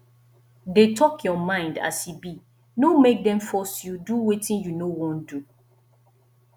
dey talk your mind as e be no make dem force you do wetin you no won do